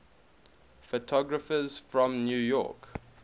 photographers from new york